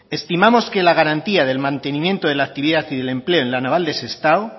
estimamos que la garantía del mantenimiento en la actividad y el empleo en la naval de sestao